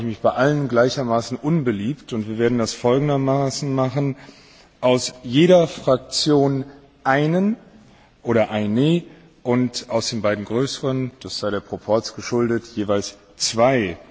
Insofern mache ich mich bei allen gleichermaßen unbeliebt, und wir werden das folgendermaßen machen aus jeder Fraktion einen oder eine und aus den beiden größeren Fraktionen das sei dem Proporz geschuldet jeweils zwei.